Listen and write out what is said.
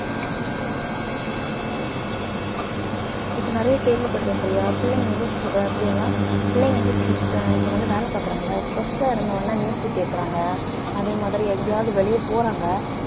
உம் உம் இப்ப நிறைய கேள்விப்படறேன் பிரியா பிள்ளைங்க வந்து stre~ அஹ் பிரியங்கா பிள்ளைங்க வந்து stress இப்ப வந்து வேலை பாக்குறாங்கல்ல stress ஆ இருந்தவுடனே கேட்கறாங்க அதே மாதிரி எங்கயாவது வெளிய போறாங்க